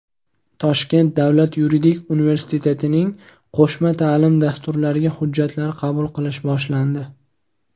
Toshkent davlat yuridik universitetining qo‘shma ta’lim dasturlariga hujjatlar qabul qilish boshlandi.